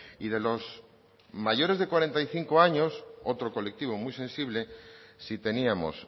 y de los mayores de cuarenta y cinco años otro colectivo muy sensible si teníamos